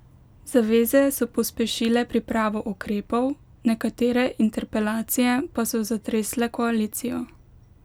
Zaveze so pospešile pripravo ukrepov, nekatere interpelacije pa so zatresle koalicijo.